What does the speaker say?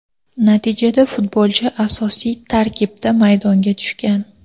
Natijada futbolchi asosiy tarkibda maydonga tushgan.